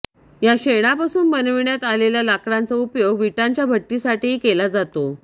या शेणापासून बनविण्यात आलेल्या लाकडांचा उपयोग विटांच्या भट्टीसाठीही केला जातो